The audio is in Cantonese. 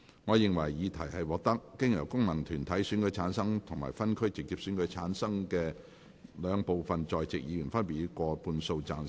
我認為議題獲得經由功能團體選舉產生及分區直接選舉產生的兩部分在席議員，分別以過半數贊成。